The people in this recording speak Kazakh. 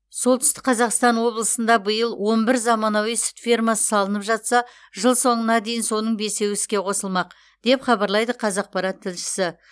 солтүстік қазақстан облысында биыл он бір заманауи сүт фермасы салынып жатса жыл соңына дейін соның бесеуі іске қосылмақ деп хабарлайды қазақпарат тілшісі